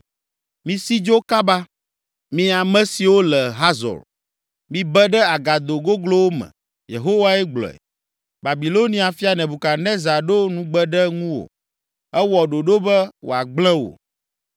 “Misi dzo kaba! Mi ame siwo le Hazor, mibe ɖe agado goglowo me.” Yehowae gblɔe. “Babilonia fia Nebukadnezar ɖo nugbe ɖe ŋuwò, ewɔ ɖoɖo be wòagblẽ wò.